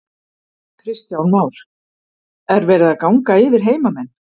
Kristján Már: Er verið að ganga yfir heimamenn?